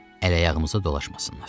Ələ-ayağımıza dolaşmasınlar.